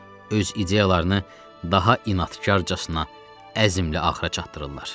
Öz ideyalarını daha inadkarcasına, əzmlə axıra çatdırırlar.